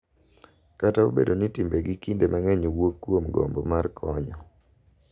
Kata obedo ni timbegi kinde mang’eny wuok kuom gombo mar konyo,